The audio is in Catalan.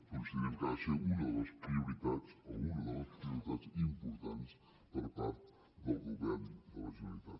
considerem que ha de ser una de les prioritats o una de les prioritats importants per part del govern de la generalitat